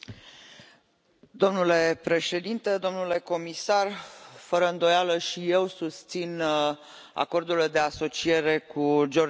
Domnule președinte, domnule comisar, fără îndoială și eu susțin Acordurile de asociere cu Georgia și Moldova.